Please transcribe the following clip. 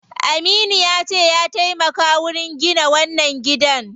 Aminu yace ya taimaka wurin gina wannan gidan.